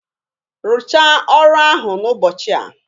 Rụchaa ọrụ ahụ n'ụbọchị a!